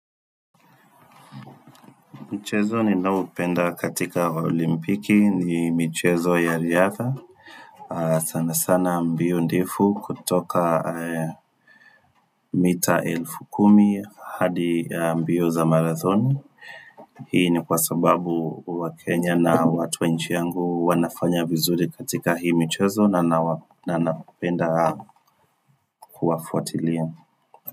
Mchezo ni naoupenda katika olimpiki ni michezo ya riadha. Sana sana mbio ndefu kutoka mita elfu kumi hadi mbio za marathoni. Hii ni kwa sababu wa Kenya na watuwa nchi yangu wanafanya vizuri katika hii mchezo na naupenda kuwafuatilia.